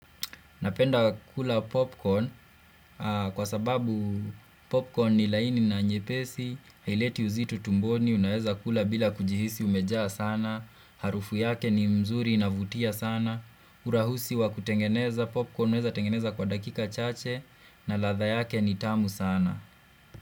Napenda kula popcorn kwa sababu popcorn ni laini na nyepesi, haileti uzito tumboni, unaeza kula bila kujihisi umejaa sana, harufu yake ni mzuri inavutia sana, urahusi wa kutengeneza popcorn, unaeza tengeneza kwa dakika chache na ladha yake ni tamu sana.